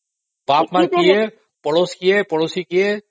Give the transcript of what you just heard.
ବାପା କିଏ ପଡୋସ କିଏ ପଡୋଶୀ କିଏ